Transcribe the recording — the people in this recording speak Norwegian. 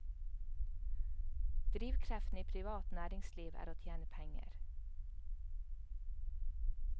Drivkreftene i privat næringsliv er å tjene penger.